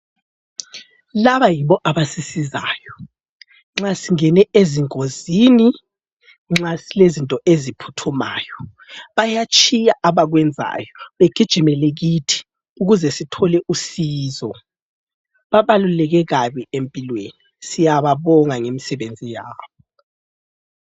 Laba yibo avasisizayo nxa singene ezingozini, nxa silezinto eziphuthumayo, bayatshiya abakwenzayo begijimele kithi ukuze sithole usizo. Babaluleke kabi empilweni siyababonga ngemsebenzi yabo.